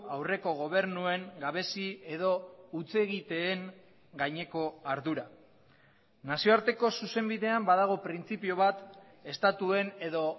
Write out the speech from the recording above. aurreko gobernuen gabezi edo hutsegiteen gaineko ardura nazioarteko zuzenbidean badago printzipio bat estatuen edo